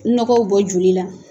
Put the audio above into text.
Nɔgɔw bɔ joli la.